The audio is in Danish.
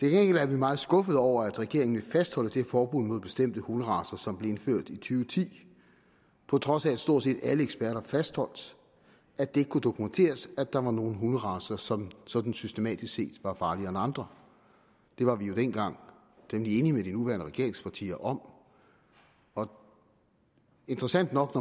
er vi meget skuffede over at regeringen vil fastholde det forbud mod bestemte hunderacer som blev indført og ti på trods af at stort set alle eksperter fastholdt at det kunne dokumenteres at der var nogle hunderacer som sådan systematisk set var farligere end andre det var vi jo dengang temmelig enig med de nuværende regeringspartier om om interessant nok